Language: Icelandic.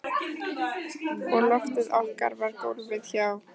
Og loftið okkar var gólfið hjá